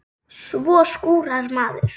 Svo skúrar maður.